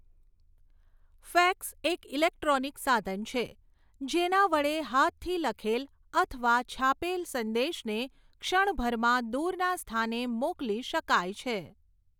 Fax એક electronic સાધન છે જેના વડે હાથથી લખેલ અથવા છાપેલ સંદેશને ક્ષણભરમાં દૂરના સ્થાને મોકલી શકાય છે.